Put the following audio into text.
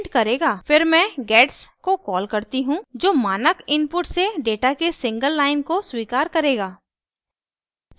फिर मैं gets को कॉल करती हूँ जो मानक इनपुट से डेटा के सिंगल लाइन को स्वीकार करेगा